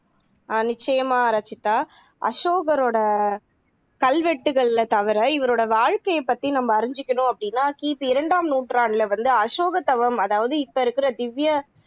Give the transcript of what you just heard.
ஆஹ் நிச்சயமா ரச்சிதா அசோகரோட கல்வெட்டுகளில தவிர இவரோட வாழ்க்கைய பத்தி நம்ம அறிஞ்சுக்கணும் அப்படின்னா கி பி இரண்டாம் நூற்றாண்டுல வந்து அசோகதவம் அதாவது இப்போ இருக்குற திவ்விய